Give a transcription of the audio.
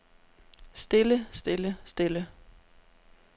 stille stille stille